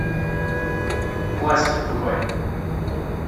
пластик врубай